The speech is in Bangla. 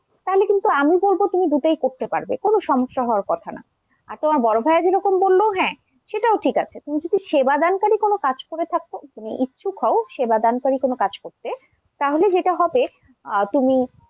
তাহলে কিন্তু আমি বলবো তুমি দুটাই করতে পারবে কোন সমস্যা হওয়ার কথা না, আর তোমার বড় ভাইয়া যেটা বললো হ্যাঁ সেটাও ঠিক আছে তুমি যদি সেবাদানকারী কোন কাজ করে থাকো তুমি ইচ্ছুক হও সেবাদানকারী কোন কাজ করতে তাহলে সেটা হবে আহ তুমি,